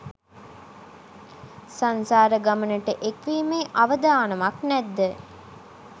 සංසාර ගමනට එක්වීමේ අවදානමක් නැත්ද?